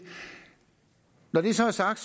når det så er sagt